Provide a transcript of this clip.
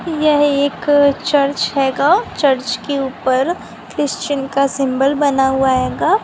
यह एक चर्च हैगा चर्च के ऊपर क्रिस्टियन का सिंबल बना हुआ हैगा।